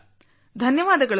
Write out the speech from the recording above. ಧನ್ಯವಾದಗಳು ಸರ್